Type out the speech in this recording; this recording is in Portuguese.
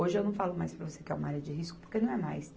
Hoje eu não falo mais para você que é uma área de risco, porque não é mais.